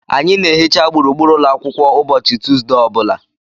Anyị na-ehicha gburugburu ụlọ akwụkwọ ụbọchị Tuesde ọ bụla.